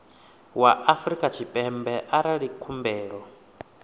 wa afrika tshipembe arali khumbelo